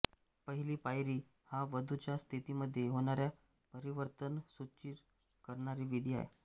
पहिली पायरी हा वधूच्या स्थितीमध्ये होणाऱ्या परिवर्तंन सूचित करणारी विधि आहे